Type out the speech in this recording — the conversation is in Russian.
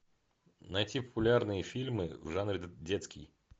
найти популярные фильмы в жанре детский